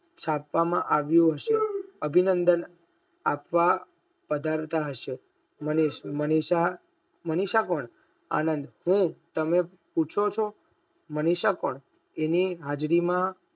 સાતામાં આવી હશે અભિનંદન આપવા પધારતા હશે નરેશ મનીષા મનીષા કોણ આનંદ તમે પૂછો છો મનીષા કોણ એની હાજરી માં